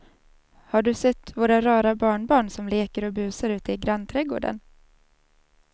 Har du sett våra rara barnbarn som leker och busar ute i grannträdgården!